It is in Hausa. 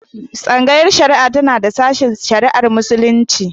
Tsangayar shari'a tana da sashen shari'ar Muslunci.